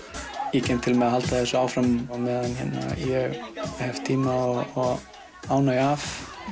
ég kem til með að halda þessu áfram meðan ég hef tíma og ánægju af